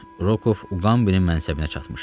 Rokov Uqambinin mənsəbinə çatmışdı.